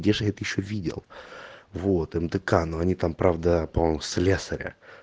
где ж я это ещё видел вот мдк но они там правда по-моему слесаря